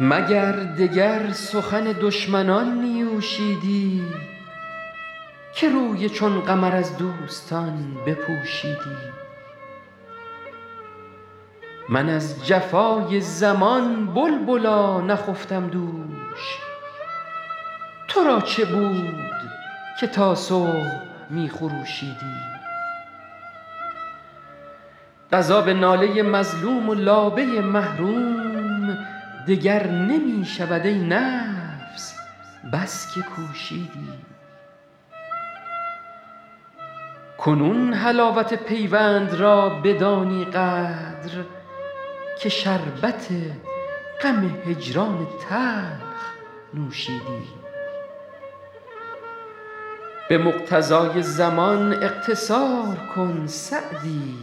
مگر دگر سخن دشمنان نیوشیدی که روی چون قمر از دوستان بپوشیدی من از جفای زمان بلبلا نخفتم دوش تو را چه بود که تا صبح می خروشیدی قضا به ناله مظلوم و لابه محروم دگر نمی شود ای نفس بس که کوشیدی کنون حلاوت پیوند را بدانی قدر که شربت غم هجران تلخ نوشیدی به مقتضای زمان اقتصار کن سعدی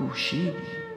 که آن چه غایت جهد تو بود کوشیدی